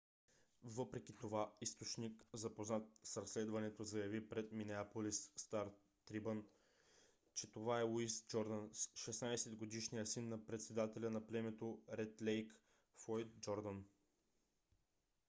въпреки това източник запознат с разследването заяви пред минеаполис стар трибюн че това е луис джордан 16-годишният син на председателя на племето ред лейк - флойд джордан